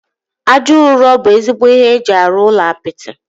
Aja ụrọ bụ ezigbo ihe eji arụ ụlọ apịtị